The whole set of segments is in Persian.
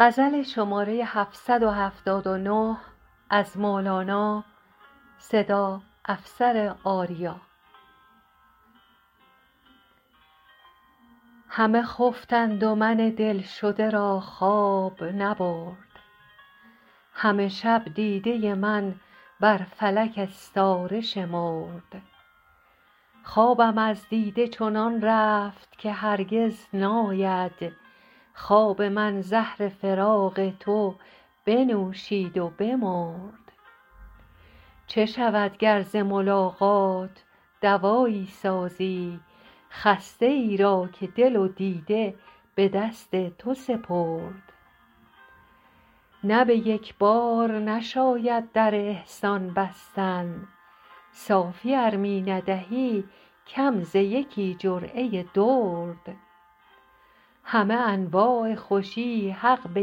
همه خفتند و من دلشده را خواب نبرد همه شب دیده من بر فلک استاره شمرد خوابم از دیده چنان رفت که هرگز ناید خواب من زهر فراق تو بنوشید و بمرد چه شود گر ز ملاقات دوایی سازی خسته ای را که دل و دیده به دست تو سپرد نه به یک بار نشاید در احسان بستن صافی ار می ندهی کم ز یکی جرعه درد همه انواع خوشی حق به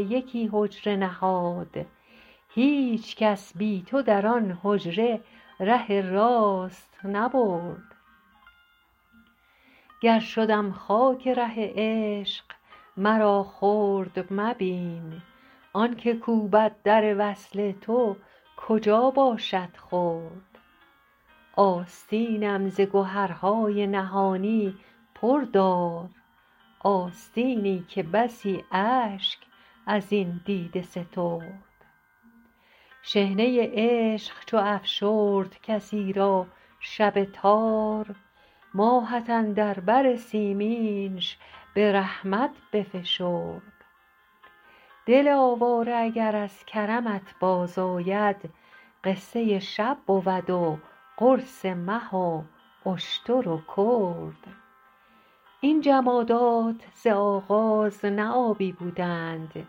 یکی حجره نهاد هیچ کس بی تو در آن حجره ره راست نبرد گر شدم خاک ره عشق مرا خرد مبین آنک کوبد در وصل تو کجا باشد خرد آستینم ز گهرهای نهانی پر دار آستینی که بسی اشک از این دیده سترد شحنه عشق چو افشرد کسی را شب تار ماهت اندر بر سیمینش به رحمت بفشرد دل آواره اگر از کرمت بازآید قصه شب بود و قرص مه و اشتر و کرد این جمادات ز آغاز نه آبی بودند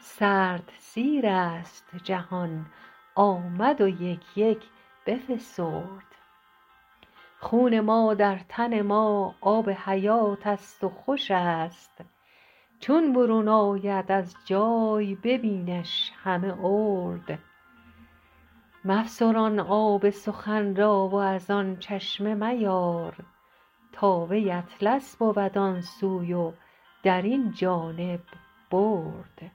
سرد سیرست جهان آمد و یک یک بفسرد خون ما در تن ما آب حیاتست و خوش است چون برون آید از جای ببینش همه ارد مفسران آب سخن را و از آن چشمه میار تا وی اطلس بود آن سوی و در این جانب برد